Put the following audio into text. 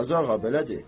Qazıağa, belədir.